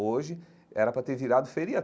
Hoje, era para ter virado feriado.